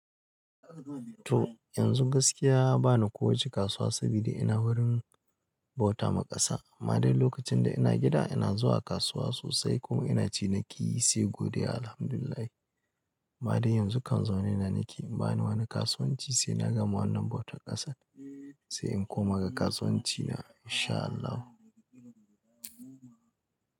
To yanzu gaskiya bana kowace kasuwa sabida ina wurin bauta ma ƙasa. Amma dai lokacin da ina gida ina zuwa kasuwa sosai kuma ina ci niki, sai godiya Alhamdulillah. Amma dai yanzu kan zaune na nake bani wani kasuwanci sai na gama wannan bautar ƙasan. Se in koma ga kasuwan ci na insha Allah.